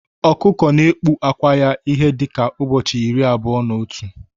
Ọkụkọ na ekpu ákwà ya ihe dika ụbọchị irí abụọ na otu